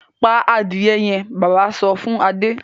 pa adìrẹ yẹn! bàbá sọ fún Adé.